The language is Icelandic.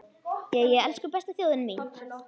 Jæja, elsku besta þjóðin mín!